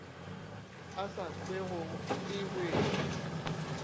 e sa kwego e wetše